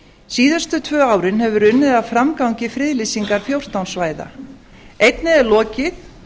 síðustu tvö árin hefur verið unnið að framgangi friðlýsingar fjórtán svæða einnig er lokið